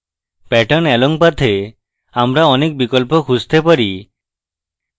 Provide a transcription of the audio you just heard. pattern along path we আমরা অনেক বিকল্প খুঁজতে পারি